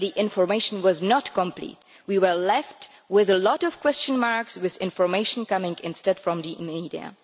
But the information was not complete we were left with a lot of question marks, with information coming instead from the media.